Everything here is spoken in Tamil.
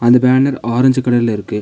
அந்த பேனர் ஆரஞ்சி கலர்ல இருக்கு.